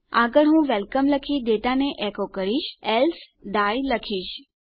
આગળ હું વેલકમ લખી ડેટાને એકો કરીશ એલ્સે ડાઇ લખીશ